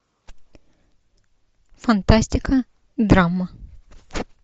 фантастика драма